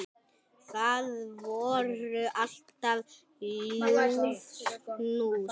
Það voru alltaf ljúf knús.